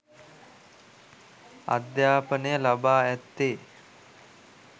අධ්‍යාපනය ලබා ඇත්තේ